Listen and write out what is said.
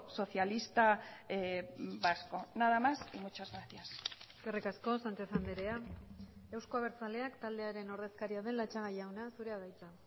socialista vasco nada más y muchas gracias eskerrik asko sánchez andrea euzko abertzaleak taldearen ordezkaria den latxaga jauna zurea da hitza